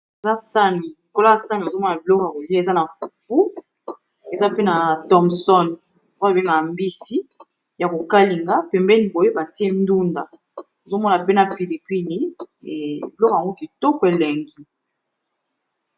Eza sani, likolo ya sani ozomona biloko ya kolia eza na fufu, eza pe na thomson oyo ba bengaka mbisi ya ko kalinga pembéni boye batié ndunda ozomona pe na pili pili biloko yango kitoko élengi.